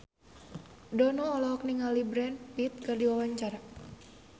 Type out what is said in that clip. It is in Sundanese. Dono olohok ningali Brad Pitt keur diwawancara